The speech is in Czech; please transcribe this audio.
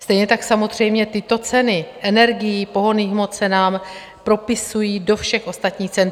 Stejně tak samozřejmě tyto ceny, energií, pohonných hmot se nám propisují do všech ostatních cen.